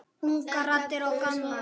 Ungar raddir og gamlar.